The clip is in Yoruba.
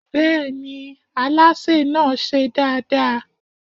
Bẹ́ẹ̀ni, alásè náà ṣe dáadáa.